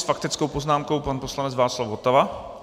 S faktickou poznámkou pan poslanec Václav Votava.